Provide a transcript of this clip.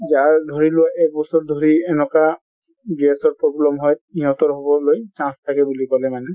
যাৰ ধৰি লোৱা এক বছৰ ধৰি এনকা gas ৰ problem হয় ইহঁতৰ হʼবলৈ chance থাকে বুলি কʼলে মানে